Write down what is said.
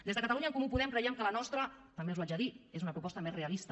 des de catalunya en comú podem creiem que la nostra també els ho haig de dir és una proposta més realista